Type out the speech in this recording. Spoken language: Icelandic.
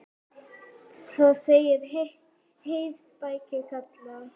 Þar segir: Heyr, spekin kallar.